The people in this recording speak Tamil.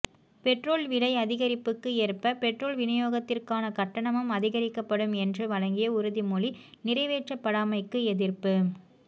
பெற்றோல் விலை அதிகரிப்புக்கு ஏற்ப பெற்றோல் விநியோகத்திற்கான கட்டணமும் அதிகரிக்கப்படும் என்று வழங்கிய உறுதிமொழி நிறைவேற்றப்படாமைக்கு எதிர்ப்பு